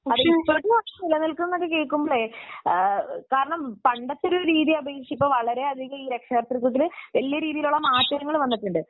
ഇപ്പോഴും അത് നിലനിൽക്കുന്നു എന്ന് കേൾക്കുമ്പോഴേ പണ്ടത്തെ ഒരു രീതിയെ അപേക്ഷിച്ചു ഇപ്പോൾ രക്ഷകർതൃത്വത്തിൽ വലിയ രീതിയിൽ മാറ്റങ്ങൾ വന്നിട്ടുണ്ട്